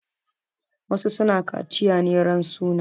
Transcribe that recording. Wasu su na kaciya ne ran suna.